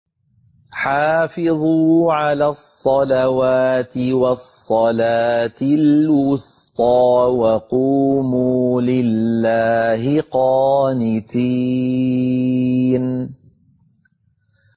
حَافِظُوا عَلَى الصَّلَوَاتِ وَالصَّلَاةِ الْوُسْطَىٰ وَقُومُوا لِلَّهِ قَانِتِينَ